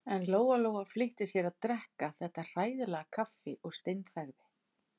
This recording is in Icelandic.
En Lóa-Lóa flýtti sér að drekka þetta hræðilega kaffi og steinþagði.